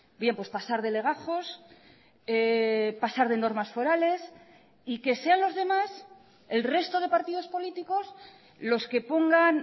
bien pues pasar de legajos pasar de normas forales y que sean los demás el resto de partidos políticos los que pongan